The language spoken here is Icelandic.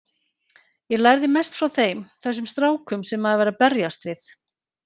Ég lærði mest frá þeim, þessum strákum sem maður var að berjast við.